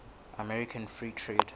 american free trade